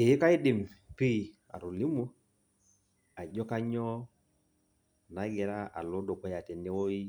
Ee kaidim pi atolimu, ajo kanyioo nagira alo dukuya tenewoi,